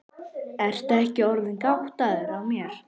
Ertu ekki orðinn gáttaður á mér.